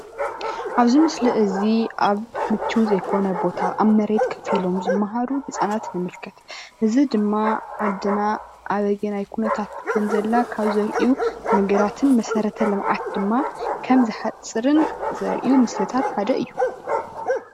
እዚ ምስሊ ተማሃሮ ኣብ ዘይምቹ ቦታ ኮይኖም ዝማሃሩ ተማሃሮ እንትኾኑ መስረተልምዓት ዘይተማለአ የርኢ።